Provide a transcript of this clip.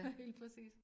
Helt præcist